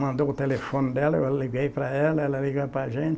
Mandou o telefone dela, eu liguei para ela, ela liga para a gente